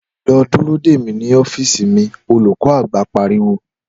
Lọ dúró dè mí nínú ọ́fíìsì mi!' olùkọ́-àgbà pariwo